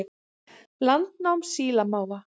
Landnám sílamáfa